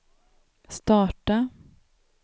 starta